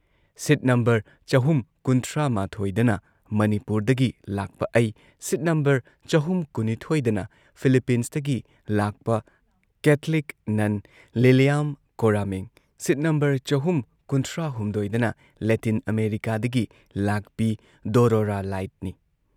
ꯁꯤꯠ number ꯆꯍꯨꯝ ꯀꯨꯟꯊ꯭ꯔꯥꯃꯥꯊꯣꯏꯗꯅ ꯃꯅꯤꯄꯨꯔꯗꯒꯤ ꯂꯥꯛꯄ ꯑꯩ, ꯁꯤꯠ ꯅꯝꯕꯔ ꯆꯍꯨꯝ ꯀꯨꯟꯅꯤꯊꯣꯏꯗꯅ ꯐꯤꯂꯤꯄꯤꯟꯁꯇꯒꯤ ꯂꯥꯛꯄ ꯀꯦꯊꯂꯤꯛ ꯅꯟ ꯂꯤꯂꯤꯌꯥꯝ ꯀꯣꯔꯥꯃꯤꯡ, ꯁꯤꯠ ꯅꯝꯕꯔ ꯆꯍꯨꯝ ꯀꯨꯟꯊ꯭ꯔꯥꯍꯨꯝꯗꯣꯏꯗꯅ ꯂꯦꯇꯤꯟ ꯑꯃꯦꯔꯤꯀꯥꯗꯒꯤ ꯂꯥꯛꯄꯤ ꯗꯣꯔꯣꯔꯥ ꯂꯥꯏꯠꯅꯤ ꯫